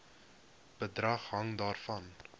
bedrag hang daarvan